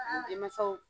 N denmansaw